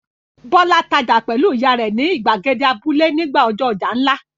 Bọ́lá tajà pẹ̀lú ìyá rẹ̀ ni ìgbàgede abúlé nígbà ọjọ́ ọjà ńlá.